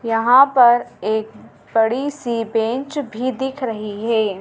यहाँ पर एक बड़ी सी बेंच भी दिख रही है।